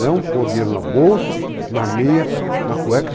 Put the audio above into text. Não pôr dinheiro na bolsa, na meia, na cueca.